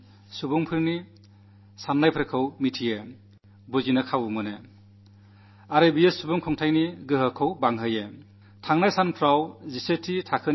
ഭാരതത്തിലെ എല്ലാ മൂലയിൽ നിന്നും എല്ലാ തരത്തിലും പെട്ട ആളുകളുടെയും വികാരങ്ങൾ അറിയാനും മനസ്സിലാക്കാനും അവസരം കിട്ടുന്നു അത് ജനാധിപത്യത്തിന്റെ ശക്തിക്ക് പ്രോത്സാഹനം നല്കുന്നു